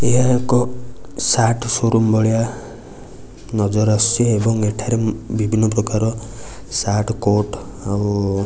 ଏହା ଏକ shirt showroom ଭଳିଆ ନଜର ଆସୁଚି ଏବଂ ଏଠାରେ ବିଭିନ୍ନ ପ୍ରକାର ସାର୍ଟ କୋଟ୍ ଆଉ --